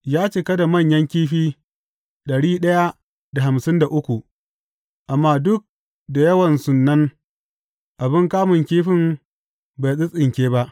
Ya cika da manyan kifi, amma duk da yawansun nan abin kamun kifin bai tsintsinke ba.